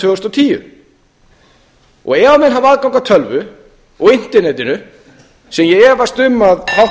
og tíu ef menn hafa aðgang að tölvu og internetinu sem ég efast um að háttvirtir þingmenn samfylkingarinnar